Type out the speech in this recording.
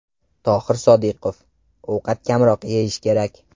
Tohir Sodiqov: Ovqat kamroq yeyish kerak.